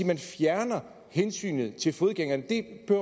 man fjerner hensynet til fodgængerne